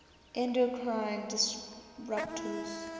endocrine disruptors